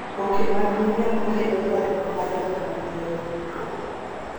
Oboke mag miriambo kelo ywarruok madongo mag lowo.